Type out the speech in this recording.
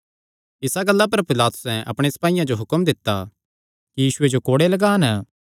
इसा गल्ला पर पिलातुसैं अपणे सपाईयां जो एह़ हुक्म दित्ता यीशुये जो कोड़े लगान